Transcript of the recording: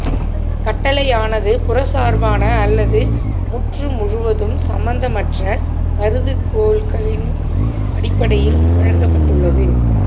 கட்டளையானது புறச்சார்பான அல்லது முற்றுமுழுவதும் சம்பந்தமற்ற கருதுகோள்களின் அடிப்படையில் வழங்கப்பட்டுள்ளது